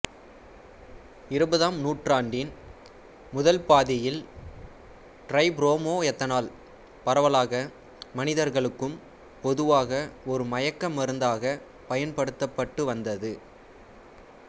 இருபதாம் நூற்றாண்டின் முதல் பாதியில் டிரைபுரோமோயெத்தனால் பரவலாக மனிதர்களுக்கும் பொதுவாக ஒரு மயக்க மருந்தாக பயன்படுத்தப்பட்டு வந்தது